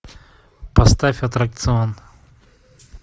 поставь аттракцион